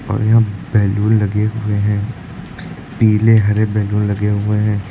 और यहां बैलून लगे हुए हैं पीले हरे बैलून लगे हुए हैं।